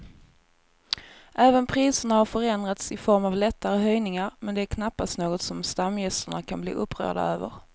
Även priserna har förändrats i form av lättare höjningar men det är knappast något som stamgästerna kan bli upprörda över.